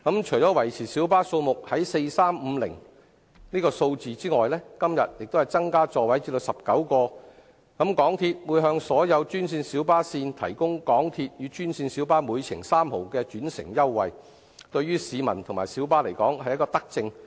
除維持小巴數目在 4,350 輛及今天增加座位至19個外，港鐵會向所有專線小巴路線提供港鐵與專線小巴每程3角的轉乘優惠，對於市民及小巴而言是德政。